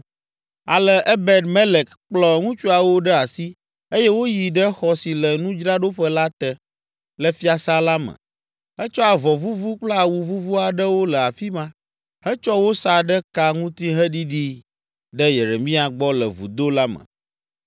Ale Ebed Melek kplɔ ŋutsuawo ɖe asi eye woyi ɖe xɔ si le nudzraɖoƒe la te, le fiasã la me. Etsɔ avɔ vuvu kple awu vuvu aɖewo le afi ma, hetsɔ wo sa ɖe ka ŋuti heɖiɖii ɖe Yeremia gbɔ le vudo la me.